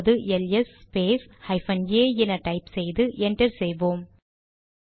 இப்போது L S space hyphen A என type செய்து என்டர் செய்வோம்